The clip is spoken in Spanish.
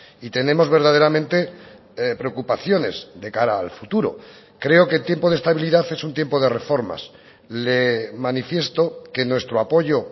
y tenemos verdaderamente preocupaciones de cara al futuro creo que tiempo de estabilidad es un tiempo de reformas le manifiesto que nuestro apoyo